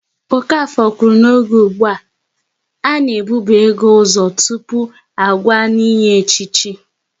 Okafor kwuru n'oge ụgbụa, a na e bube ego ụzọ tụpụ agwa n'inye echichi